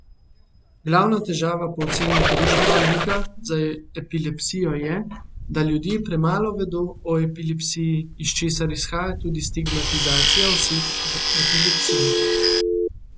Glavna težava po oceni društva Liga za epilepsijo je, da ljudje premalo vedo o epilepsiji, iz česar izhaja tudi stigmatizacija oseb z epilepsijo.